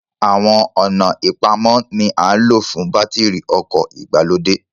Àwọn ọ̀nà ìpamọ́ ni à ń lò fún bátìrì ọkọ̀ ìgbàlódé